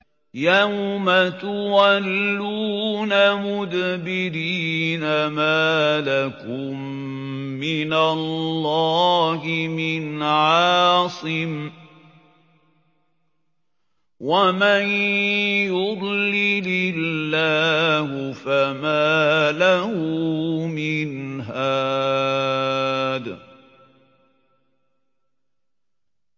يَوْمَ تُوَلُّونَ مُدْبِرِينَ مَا لَكُم مِّنَ اللَّهِ مِنْ عَاصِمٍ ۗ وَمَن يُضْلِلِ اللَّهُ فَمَا لَهُ مِنْ هَادٍ